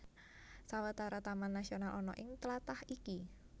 Sawetara taman nasional ana ing tlatah iki